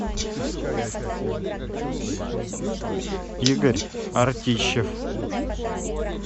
игорь артищев